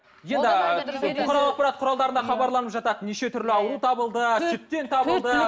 енді бұқаралық ақпарат қуралдарына хабарланып жатады неше түрлі ауру табылды сүттен табылды